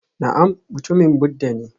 Na'am mutumin Buddha ne